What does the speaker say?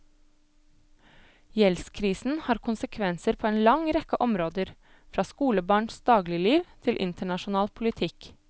Gjeldskrisen har konsekvenser på en lang rekke områder, fra skolebarns dagligliv til internasjonal politikk.